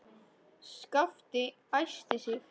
Skapti æsti sig.